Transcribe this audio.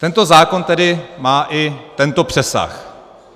Tento zákon tedy má i tento přesah.